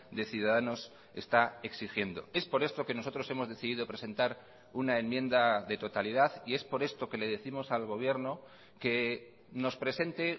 de ciudadanos está exigiendo es por esto que nosotros hemos decidido presentar una enmienda de totalidad y es por esto que le décimos al gobierno que nos presente